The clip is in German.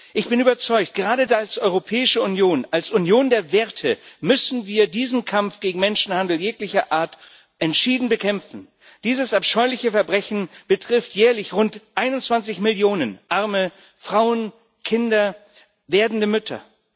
Ich bin überzeugt, gerade als Europäische Union, als Union der Werte, müssen wir diesen Kampf gegen Menschenhandel jeglicher Art entschieden führen. Dieses abscheuliche Verbrechen betrifft jährlich rund 21 Millionen arme Frauen, Kinder, werdende Mütter.